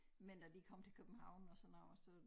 Men da de kom til København og sådan noget og så